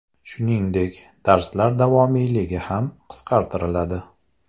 Shuningdek, darslar davomiyligi ham qisqartiriladi.